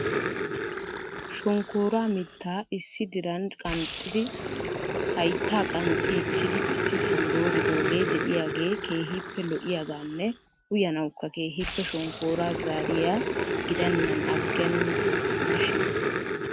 shonkkoora mitta issi diran qanxxidi haytta qanxxichidi issisan dooridooge de'iyaage keehippe lo''iyaaganne uyyanawukka keehippe shonkkora zariya gidenan agen shin .